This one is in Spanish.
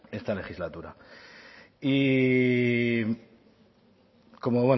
esta legislatura y como